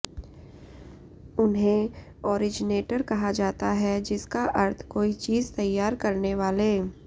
उन्हें ओरिजनेटर कहा जाता है जिसका अर्थ कोई चीज तैयार करने वाले